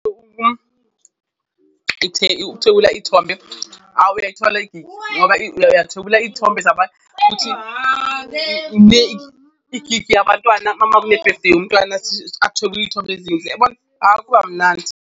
Ukuthwebula ithombe awu uyayithola igigi ngoba uyathwebula iy'thombe zabantu futhi igigi yabantwana ama kune-birthday yomntwana athwebule iy'thombe ezinhle, uyabona, awu kuba mnandi.